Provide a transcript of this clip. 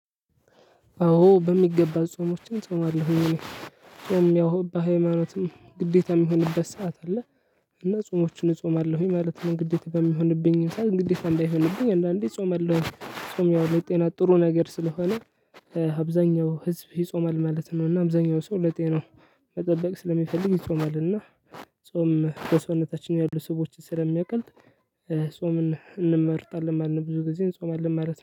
አዎ በሚገባ ጾሞችን ጾማለሁኝ እኔ ያው በሃይማኖትም ግዴታ የሚሆንበት ሰዓት አለ። እና ጾሞችን እጾማለሁኝ ማለት ነው ግዴታ በሚሆንብኝ ሰዓት ግዴታ እንዳይሆንብኝ አንዳንዴ እጾማለሁኝ ጾም ያው ለጤና ጥሩ ነገር ስለሆነ። አብዛኛው ህዝብ ይጾማል ማለት ነው እና አብዛኛው ሰው ለጤናው መጠበቅ ስለሚፈልግ ይጾማል። እና ጾም በሰውነታችን ያሉ ስቦችን ስለሚያቀልጥ ጾምን እንመርጣለን ማለት ነው። ብዙ ጊዜ እንጾማለን ማለት ነው